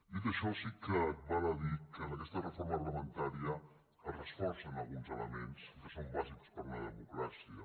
dit això sí que val a dir que en aquesta reforma reglamentària es reforcen alguns elements que són bàsics per a una democràcia